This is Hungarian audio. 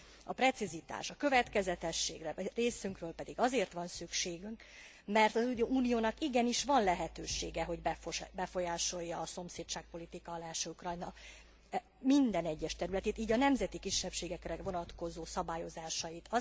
A precizitás, a következetességre részünkről pedig azért van szükségünk, mert az Uniónak igenis van lehetősége, hogy befolyásolja a szomszédságpolitika állású Ukrajna minden egyes területét, így a nemzeti kisebbségekre vonatkozó szabályozásait.